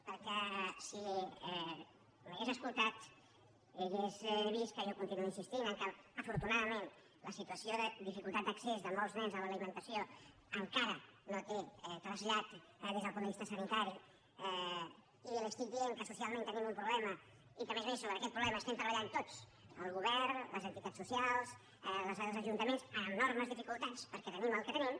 perquè si m’hagués escoltat hauria vist que jo continuo insistint que afortunadament la situació de dificultat d’accés de molts nens a l’alimentació encara no té trasllat des del punt de vista sanitari i li estic dient que socialment tenim un problema i que a més a més sobre aquest problema estem treballant tots el govern les entitats socials els ajuntaments amb enormes dificultats perquè tenim el que tenim